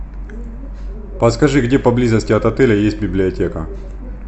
подскажи где поблизости от отеля есть библиотека